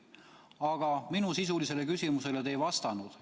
Aga minu sisulisele küsimusele te ei vastanud.